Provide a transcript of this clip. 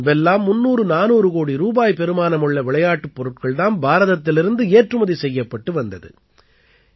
முன்பெல்லாம் 300400 கோடி ரூபாய் பெறுமானமுள்ள விளையாட்டுப் பொருட்கள் தாம் பாரதத்திலிருந்து ஏற்றுமதி செய்யப்பட்டு வந்தது